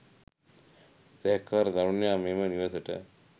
සැකකාර තරුණයා මෙම නිවසට